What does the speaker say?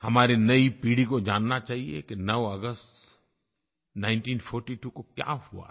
हमारी नयी पीढ़ी को जानना चाहिए कि 9 अगस्त 1942 को क्या हुआ था